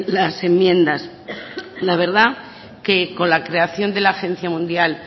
las enmiendas la verdad que con la creación de la agencia mundial